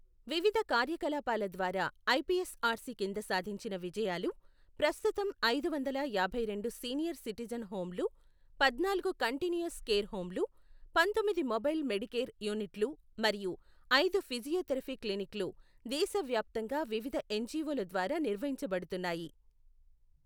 వివిధ కార్యకలాపాల ద్వారా ఐపిఎస్ఆర్సి కింద సాధించిన విజయాలు ప్రస్తుతం ఐదు వందల యాభై రెండు సీనియర్ సిటిజన్ హోమ్లు, పద్నాలుగు కంటిన్యూయస్ కేర్ హోమ్లు, పంతొమ్మిది మొబైల్ మెడికేర్ యూనిట్లు మరియు ఐదు ఫిజియోథెరపీ క్లినిక్లు దేశవ్యాప్తంగా వివిధ ఎన్జిఓల ద్వారా నిర్వహించబడుతున్నాయి.